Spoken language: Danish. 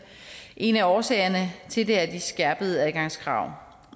en af årsagerne til det er de skærpede adgangskrav